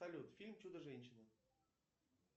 салют фильм чудо женщина